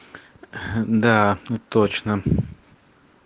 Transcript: ха да точно